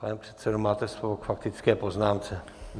Pane předsedo, máte slovo k faktické poznámce.